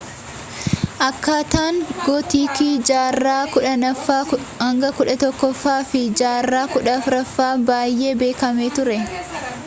akkaataan gootiikii jaarraa 10ffaa - 11ffaa fi jaarraa 14ffaa’ti baay’ee beekamee ture